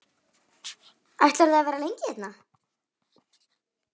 Ætlarðu að vera lengi hérna?